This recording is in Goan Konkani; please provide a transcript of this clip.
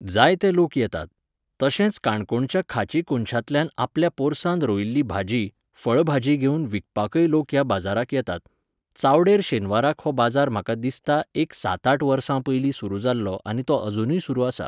जायते लोक येतात. तशेंच काणकोणच्या खाची कोनशांतल्यान आपल्या पोरसांत रोयिल्ली भाजी, फळभाजी घेवन विकपाकय लोक ह्या बाजाराक येतात. चावडेर शेनवाराक हो बाजार म्हाका दिसता एक सात आठ वर्सां पयलीं सुरू जाल्लो आनी तो अजूनय सुरू आसा.